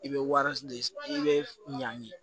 I bɛ wari de i bɛ ɲan